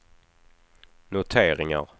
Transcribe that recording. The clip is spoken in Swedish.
noteringar